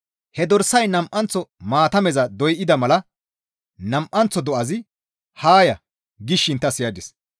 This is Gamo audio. He dorsay nam7anththo maatameza doyda mala nam7anththo do7azi, «Haa ya!» gishin ta siyadis.